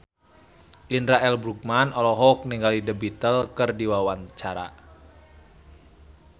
Indra L. Bruggman olohok ningali The Beatles keur diwawancara